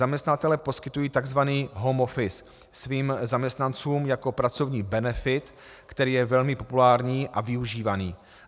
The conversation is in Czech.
Zaměstnavatelé poskytují tzv. home office svým zaměstnancům jako pracovní benefit, který je velmi populární a využívaný.